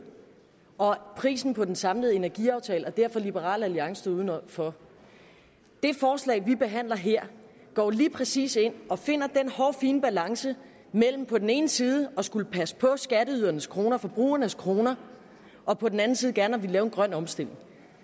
og prisen på den samlede energiaftale og derfor står liberal alliance uden for det forslag vi behandler her går jo lige præcis ind og finder den hårfine balance mellem på den ene side at skulle passe på skatteydernes kroner forbrugernes kroner og på den anden side gerne at ville lave en grøn omstilling